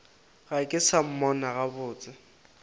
ga ke sa mmona gabotse